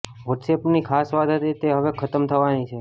વોટ્સએપની ખાસ વાત હતી તે હવે ખત્મ થવાની છે